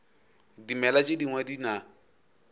dimela tše dingwe di na